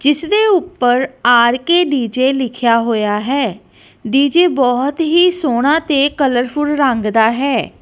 ਜਿੱਸ ਦੇ ਊਪਰ ਆਰ_ਕੇ ਡੀ_ਜੇ ਲਿਖੇਆ ਹੋਇਆ ਹੈ ਡੀ ਜੇ ਬੋਹੁਤ ਹੀ ਸੋਹਣਾ ਤੇ ਕਲਰਫੁਲ ਰੰਗ ਦਾ ਹੈ।